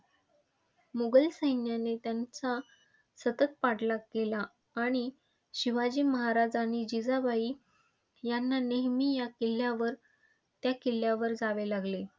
मुघल सैन्याने त्यांचा सतत पाठलाग केला आणि शिवाजी महाराज आणि जिजाबाई यांना नेहेमी ह्या किल्ल्यावर त्या किल्ल्यावर जावे लागले.